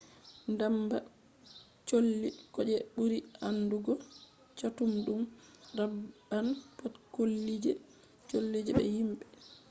ndamba colli ko je ɓuri aandugo catuɗum raɓɓan pat collije be himɓe